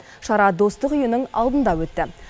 шара достық үйінің алдында өтті